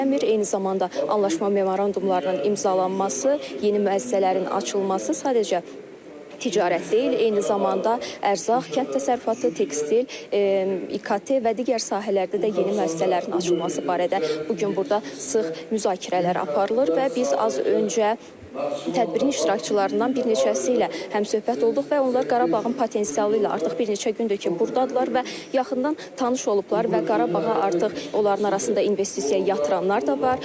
Eyni zamanda anlaşma memorandumlarının imzalanması, yeni müəssisələrin açılması sadəcə ticarət deyil, eyni zamanda ərzaq, kənd təsərrüfatı, tekstil, İKT və digər sahələrdə də yeni müəssisələrin açılması barədə bu gün burda sıx müzakirələr aparılır və biz az öncə tədbirin iştirakçılarından bir neçəsi ilə həmsöhbət olduq və onlar Qarabağın potensialı ilə artıq bir neçə gündür ki, burdadırlar və yaxından tanış olublar və Qarabağa artıq onların arasında investisiya yatıranlar da var.